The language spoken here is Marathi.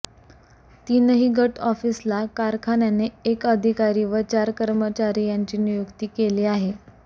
तीनही गट ऑफिसला कारखान्याने एक अधिकारी व चार कर्मचारी यांची नियुक्ती केली आहे